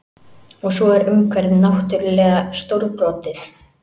Og svo er umhverfið náttúrlega stórbrotið